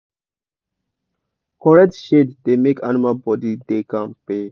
correct shade da make animal body da kampe